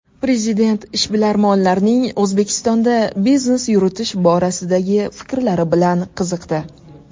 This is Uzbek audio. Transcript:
Prezident ishbilarmonlarning O‘zbekistonda biznes yuritish borasidagi fikrlari bilan qiziqdi.